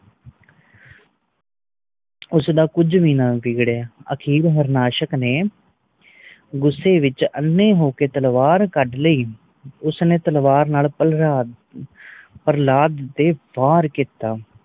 ਉਸ ਦਾ ਕੁਛ ਵੀ ਨਾ ਵਿਗੜਿਆ। ਅਖੀਰ ਹਾਰਨਾਸ਼ਕ ਨੇ ਗੁੱਸੇ ਵਿਚ ਅੰਨ੍ਹੇ ਹੋਕੇ ਤਲਵਾਰ ਕੱਢ ਲਈ। ਉਸ ਨੇ ਤਲਵਾਰ ਨਾਲ ਪ੍ਰਹਲਾਦ ਪ੍ਰਹਲਾਦ ਤੇ ਵਾਰ ਕੀਤਾ।